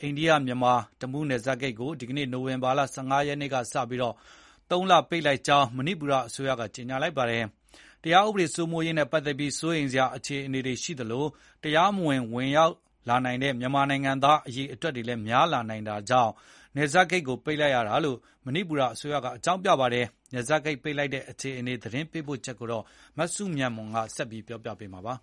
အိန္ဒိယ မြန်မာ တမူးနယ်စပ်ဂိတ်ကို ဒီနေ့ နိုဝင်ဘာ ၁၅ ရက်ကစပြီး ၃ လပိတ်လိုက်ကြောင်း မဏိပူရ်အစိုးရက ကြေညာလိုက်ပါတယ်။ တရားဥပဒေစိုးမိုးရေးနဲ့ ပတ်သက်ပြီး စိုးရိမ်စရာအခြေအနေတွေရှိသလို တရားမဝင် ခိုးဝင်လာနိုင်တဲ့ မြန်မာနိုင်ငံသားအရေအတွက် များလာနိုင်တာကြောင့် နယ်စပ်ဂိတ်ကို ပိတ်လိုက်တာလို့ မဏိပူရ်အစိုးရက အကြောင်းပြပါတယ်။ နယ်စပ်ဂိတ် ပိတ်လိုက်တဲ့အခြေအနေ သတင်းပေးပို့ချက်ကို မစုမြတ်မွန်က တင်ပြပေးထားပါတယ်။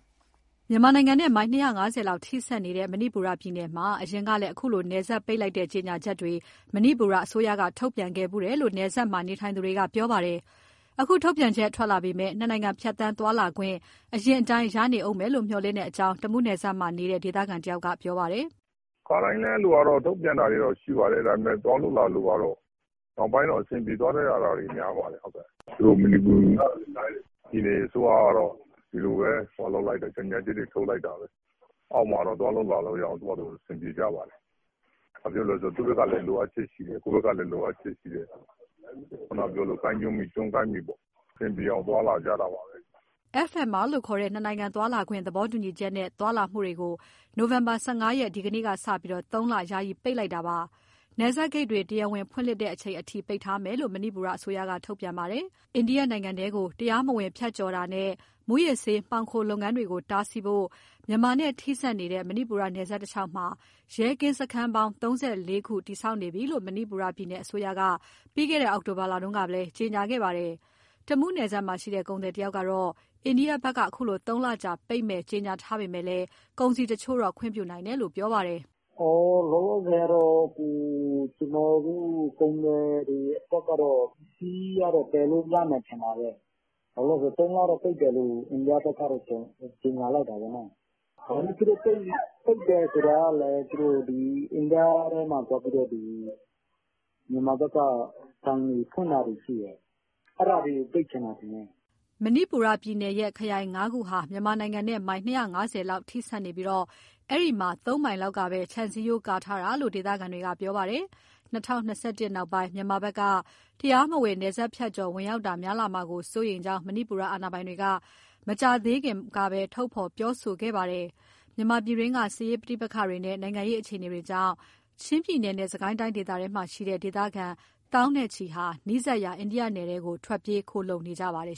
မြန်မာနိုင်ငံနဲ့ မိုင် ၂၅၀ လောက် ထိစပ်နေတဲ့ မဏိပူရ်ပြည်နယ်မှာ အရင်ကလည်း အခုလို နယ်စပ်ပိတ်တဲ့ ကြေညာချက်တွေ မဏိပူရ်အစိုးရက ထုတ်ပြန်ခဲ့ဖူးတယ်လို့ နယ်စပ်မှာ နေထိုင်သူတွေက ပြောပါတယ်။ အခု ထုတ်ပြန်ချက်ထွက်လာပေမဲ့ နှစ်နိုင်ငံ ဖြတ်သန်းသွားလာခွင့် အရင်အတိုင်း ရနေဦးမယ်လို့ မျှော်လင့်တဲ့အကြောင်း တမူးနယ်စပ်မှာ နေထိုင်တဲ့ ဒေသခံတဦးက ပြောပါတယ်။ "ခါတိုင်းလည်း အဲ့လိုကတော့ ထုတ်ပြန်တာတွေ ရှိပါတယ်။ ဒါပေမဲ့ သွားလာလို့ ကတော့ နောက်ပိုင်းကျ အဆင်ပြေသွားတာ များပါတယ်။ သူတို့ မဏိပူရ်ပြည်နယ် အစိုးရကတော့ ဒီလိုပဲ ကြေညာချက်တွေ ထုတ်လိုက်တာပဲ။ အောက်မှာတော့ သွားလို့လာလို့ရအောင် သူ့ဟာသူ အဆင်ပြေကြပါတယ်။ ဘာဖြစ်လို့လဲ ဆိုတော့ သူ့ဘက်ကလည်း လိုအပ်ချက်ရှိတယ်၊ ကိုယ့်ဘယ်ကလည်း လိုအပ်ချက်ရှိတယ်။ ကိုင်းကျွန်းမှီ ကျွန်းကိုင်းမှီပေါ့။ အဆင်ပြေအောင် သွားလာကြတာပါပဲ။" နိုဝင်ဘာ ၁၅ ရက် ဒီကနေ့ကစပြီး FMR လို့ခေါ်တဲ့ နှစ်နိုင်ငံသွားလာခွင့် သဘောတူညီချက်ကို FMR ကို ၃ လအထိ ပိတ်လိုက်ပြီး နယ်စပ်ဂိတ်တွေ တရားဝင် ဖွင့်လှစ်တဲ့အချိန်အထိ ထပ်ပြီး ပိတ်ထားမယ်လို့ ထုတ်ပြန်ထားပါတယ်။ အိန္ဒိယနိုင်ငံထဲကို တရားမဝင် ဖြတ်ကျော်တာနဲ့ မူးယစ်ဆေး မှောင်ခိုလုပ်ငန်းတွေကို တားဆီးဖို့ မြန်မာနဲ့ ထိစပ်နေတဲ့ မဏိပူရ်နယ်စပ်တလျှောက်မှာ ရဲကင်းစခန်းပေါင်း ၃၄ ခု တည်ဆောက်နေပြီလို့ မဏိပူရ်ပြည်နယ် အစိုးရက ပြီးခဲ့တဲ့ အောက်တိုဘာလတုန်းကလည်း ကြေညာခဲ့ပါတယ်။ တမူးနယ်စပ်မှာရှိတဲ့ ကုန်သည်တဦးကတော့ အိန္ဒိယဘက်က အခုလို သုံးလကြာပိတ်မယ် ကြေညာထားပေမဲ့ ကုန်စည်တချို့တော့ ခွင့်ပြုနိုင်တယ်လို့ ပြောပါတယ်။ "လောလောဆယ်ကတော့ ကျနော်တို့ ကုန်သည်တွေ ပစ္စည်းကတော့ သယ်လို့ ရမယ်ထင်ပါတယ်။ ၃ လလောက် ပိတ်တယ်လို့တော့ အိန္ဒိယဘက်က ကြေညာလိုက်တာပဲ။ သူတို့ ပိတ်တယ်ဆိုတာကလည်း အိန္ဒိယထဲမှာ သွားပြီးတော့ မြန်မာဘက်က ဆိုင်တွေဖွင့်တာရှိတယ်။ အဲဒါတွေကို ပိတ်ချင်တာဖြစ်မယ်။" မဏိပူရ်ပြည်နယ်ရဲ့ ခရိုင်ငါးခုဟာ မြန်မာနိုင်ငံနဲ့ မိုင် ၂၅၀ လောက် ထိစပ်နေပြီး အဲဒီမှာ ၃ မိုင်လောက်ကပဲ ခြံစည်းရိုး ကာရံထားတာလို့ ဒေသခံတွေက ပြောပါတယ်။ ၂၀၂၁ နောက်ပိုင်း မြန်မာဘက်က တရားမဝင် နယ်စပ်ဖြတ်ကျော် ဝင်ရောက်တာ များလာမှာကို စိုးရိမ်ကြောင်း မဏိပူရ် အာဏာပိုင်တွေက မကြာသေးခင်ကပဲ ထုတ်ဖော်ပြောဆို နေပါတယ်။ မြန်မာပြည်တွင်းက စစ်ရေး ပဋိပက္ခတွေနဲ့ နိုင်ငံရေး အခြေအနေတွေကြောင့် ချင်းပြည်နယ်နဲ့ စစ်ကိုင်းတိုင်းဒေသတွေမှာရှိတဲ့ ဒေသခံတွေထောင်နဲ့ချီ နီးစပ်ရာ အိန္ဒိယနိုင်ငံထဲ ထွက်ပြေးခိုလှုံ နေကြပါတယ်